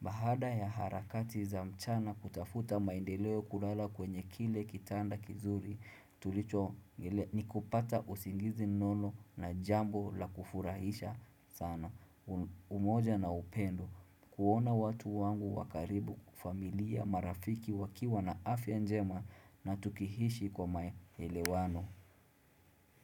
Bahada ya harakati za mchana kutafuta maendeleo kulala kwenye kile kitanda kizuri, tulicho ni kupata usingizi nono na jambo la kufurahisha sana umoja na upendo. Kuona watu wangu wa karibu familia marafiki wakiwa na afya njema na tukihishi kwa mayelewano.